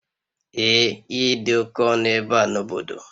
Ee ihe dị oke ọnụ ebe a n'obodo.